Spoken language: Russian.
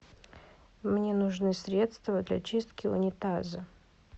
мне нужно средство для чистки унитаза